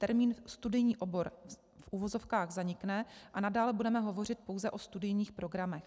Termín studijní obor v uvozovkách zanikne a nadále budeme hovořit pouze o studijních programech.